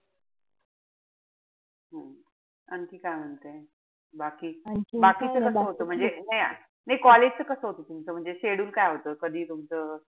हम्म आणखी काय म्हणते? बाकी बाकीचं कस होत? म्हणजे नाई नाई college च कस होत तुमचं म्हणजे schedule काय होत? कधी तुमचं,